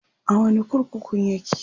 a wani kurkukun yake?